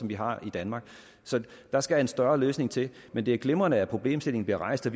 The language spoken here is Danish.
vi har i danmark der skal en større løsning til men det er glimrende at problemstillingen bliver rejst og